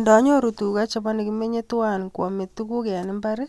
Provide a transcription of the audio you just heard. Ndanyoru tuga chebo nekimenyen tuwan koamei tuguk eng imbar,